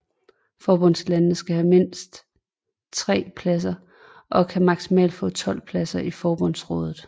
Forbundslandene skal have mindst 3 pladser og kan maksimalt få 12 pladser i Forbundsrådet